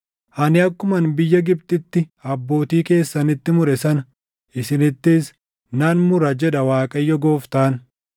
Ani akkuman biyya Gibxitti abbootii keessanitti mure sana isinittis nan mura, jedha Waaqayyo Gooftaan.